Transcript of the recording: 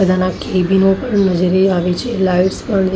બધામાં કેબિનો પણ નજરે આવે છે લાઇટ્સ પણ--